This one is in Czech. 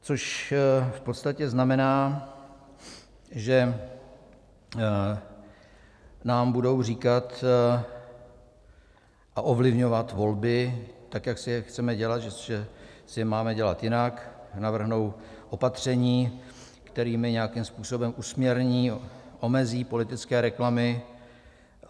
- Což v podstatě znamená, že nám budou říkat a ovlivňovat volby, tak jak si je chceme dělat, že si je máme dělat jinak, navrhnou opatření, kterými nějakým způsobem usměrní, omezí politické reklamy.